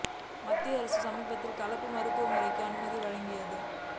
மத்திய அரசு சமீபத்தில் கலப்பு மருத்துவ முறைக்கு அனுமதி வழங்கியது